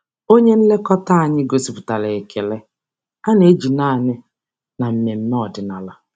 Onye nlekọta anyị gosipụtara ekele a na-eji naanị na mmemme ọdịnala.